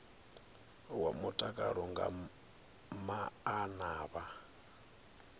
wa mutakalo nga maana vha